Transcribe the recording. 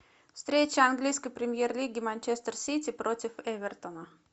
встреча английской премьер лиги манчестер сити против эвертона